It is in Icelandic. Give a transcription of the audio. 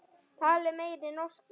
Talið meiri norsku.